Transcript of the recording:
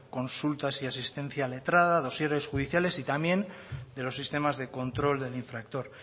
consultas y asistencia letrada dosieres judiciales y también de los sistemas de control del infractor